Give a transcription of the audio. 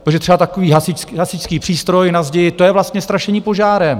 Protože třeba takový hasičský přístroj na zdi, to je vlastně strašení požárem.